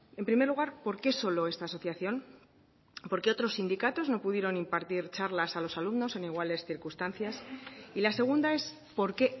en primer lugar por qué solo esta asociación por qué otros sindicatos no pudieron impartir charlas a los alumnos en iguales circunstancias y la segunda es por qué